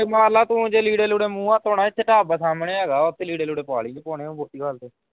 ਜੇ ਮਾਰਲਾ ਤੂੰ ਜੇ ਲੀੜੇ ਲੂੜੇ ਮੂੰਹ ਹੱਥ ਧੋਣਾ ਇੱਥੇ ਢਾਬਾ ਸਾਹਮਣੇ ਹੈਗਾ ਆ ਉਥੇ ਲੀੜੇ ਲੂੜੇ ਪਾ ਲਈ ਜੇ ਪਾਣੇ ਮੋਤੀਹਾਰੀ ਦੇ।